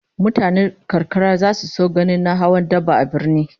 Mutanen karkara zasu so ganin na hawan daba a birni